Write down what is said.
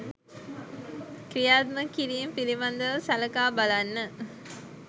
ක්‍රියාත්මක කිරීම පිළිබඳව සලකා බලන්න.